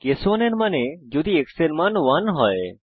case 1 এর মানে হল যদি x এর মান 1 হয়